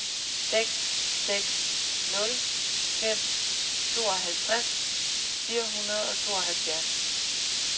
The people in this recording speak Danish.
seks seks nul fem tooghalvtreds fire hundrede og tooghalvfjerds